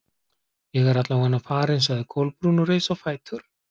Ég er alla vega farin- sagði Kolbrún og reis á fætur.